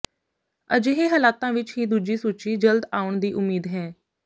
ਅਜਿਹੇ ਹਾਲਾਤਾਂ ਵਿਚ ਹੀ ਦੂਜੀ ਸੂਚੀ ਜਲਦ ਆਉਣ ਦੀ ਉਮੀਦ ਹੈ